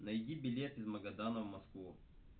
найди билет из магадана в москву